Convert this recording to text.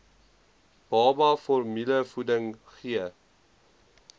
baba formulevoeding gee